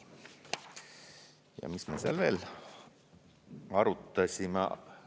Ja mis ma seal veel arutasime?